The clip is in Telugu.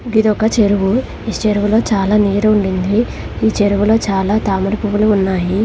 ఇదొక చెరువు. ఈ చెరువులో చాలా నీరు ఉండింది. ఈ చెరువులో చాలా తామర పువ్వులు ఉన్నాయి.